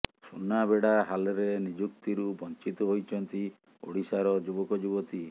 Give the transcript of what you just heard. ସୁନାବେଡ଼ା ହାଲ୍ରେ ନିଯୁକ୍ତିରୁ ବଞ୍ଚିତ ହୋଇଛନ୍ତି ଓଡିଶାର ଯୁବକ ଯୁବତୀ